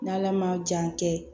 N'ala ma jan kɛ